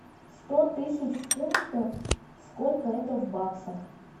сто тысяч фунтов сколько это в баксах